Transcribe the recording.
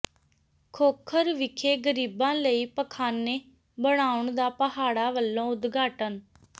ਖੋਖਰ ਵਿਖੇ ਗ਼ਰੀਬਾਂ ਲਈ ਪਖ਼ਾਨੇ ਬਣਾਉਣ ਦਾ ਪਾਹੜਾ ਵਲੋਂ ਉਦਘਾਟਨ